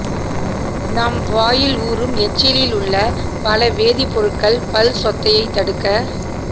நம் வாயில் ஊறும் எச்சிலில் உள்ள பல வேதிப் பொருட்கள் பல் சொத்தையை தடுக்க